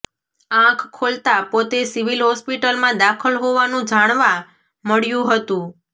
આંખ ખોલતા પોતે સિવિલ હોસ્પિટલમાં દાખલ હોવાનું જાણવા મળ્યું હતું